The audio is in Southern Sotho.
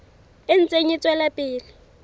e ntse e tswela pele